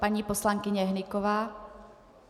Paní poslankyně Hnyková.